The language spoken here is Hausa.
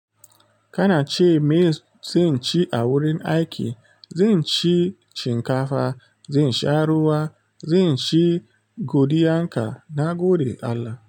Kana ce me zan ci a wurin aiki? Zan ci shinkafa, zan sha ruwa, zan ci godiyanka na gode Allah.